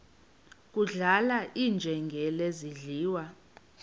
kudlala iinjengele zidliwa